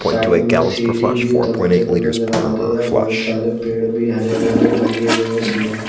Side में सीढ़ी भी उतरते हुए नज़र आ रही है ओर बहुत सारे पेड़ भी हरे भरे लगे हुए हैं उसमें।